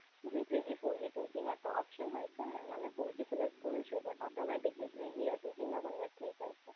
જી three g four g two g માં તો option હોય છે ને, એમાં મેં four g સિલેક્ટ કર્યું છે, તો automatically three g યા two g માં convert થઈ જાય છે.